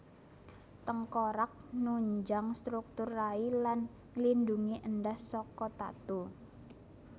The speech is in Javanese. Tengkorak nunjang struktur rai lan nglindhungi endhas saka tatu